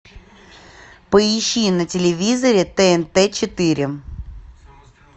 поищи на телевизоре тнт четыре